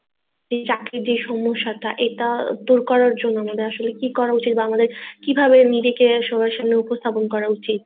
চাকরির যে সমস্যা টা এটা দূর করার জন্য আমাদের আসলে কি করা উচিৎ বা আমাদের আসলে কিভাবে নিজেকে সবার সামনে উপস্থাপন করা উচিৎ